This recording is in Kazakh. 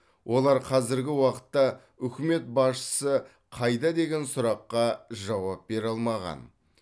олар қазіргі уақытта үкімет басшысы қайда деген сұраққа жауап бере алмаған